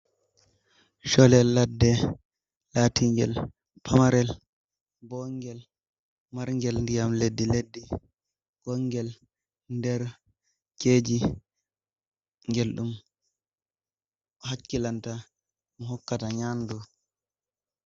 Cholel ladde laatingel pamarel bongel margel ndiyam leddi leddi bongel nder keji ngel ɗum hakkilanta ma hokkata nyandu.